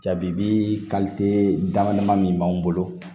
Jabi dama dama min b'an bolo